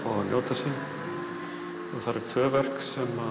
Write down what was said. njóta sín það eru tvö verk